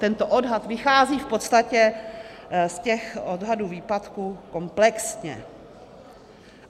Tento odhad vychází v podstatě z těch odhadů výpadků komplexně.